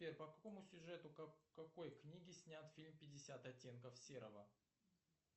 сбер по какому сюжету какой книги снят фильм пятьдесят оттенков серого